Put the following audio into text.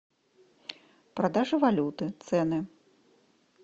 продажа валюты цены